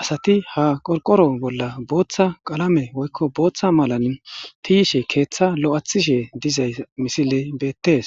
asati ha qorqoro bolla booththa qalame woykko booththa malan tiishe keeththa lo'athishe dizay misile beettes